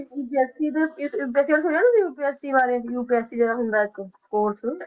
UPSC ਦਾ ਵੈਸੇ ਹੁਣ ਸੁਣਿਆ UPSC ਬਾਰੇ UPSC ਦਾ ਹੁੰਦਾ ਇੱਕ course